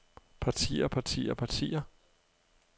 partier partier partier